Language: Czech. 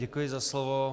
Děkuji za slovo.